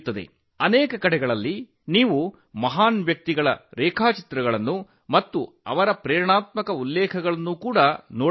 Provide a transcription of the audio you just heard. ಅನೇಕ ಸ್ಥಳಗಳಲ್ಲಿ ನೀವು ಪ್ರಸಿದ್ಧ ವ್ಯಕ್ತಿಗಳ ರೇಖಾಚಿತ್ರಗಳನ್ನು ಮತ್ತು ಅವರ ಸ್ಫೂರ್ತಿದಾಯಕ ಉಲ್ಲೇಖಗಳನ್ನು ಸಹ ನೋಡಬಹುದು